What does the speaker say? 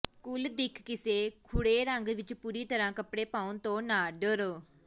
ਕੁੱਲ ਦਿੱਖ ਕਿਸੇ ਗੂੜ੍ਹੇ ਰੰਗ ਵਿੱਚ ਪੂਰੀ ਤਰ੍ਹਾਂ ਕੱਪੜੇ ਪਾਉਣ ਤੋਂ ਨਾ ਡਰੋ